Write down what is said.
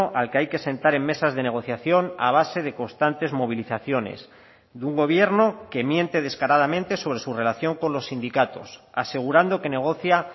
al que hay que sentar en mesas de negociación a base de constantes movilizaciones de un gobierno que miente descaradamente sobre su relación con los sindicatos asegurando que negocia